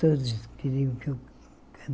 Todos queriam que eu